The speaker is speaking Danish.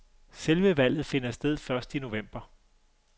Selve valget finder sted først i november.